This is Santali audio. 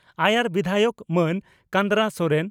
ᱟᱭᱟᱨ ᱵᱤᱫᱷᱟᱭᱚᱠ ᱢᱟᱹᱱ ᱠᱟᱱᱫᱽᱨᱟ ᱥᱚᱨᱮᱱ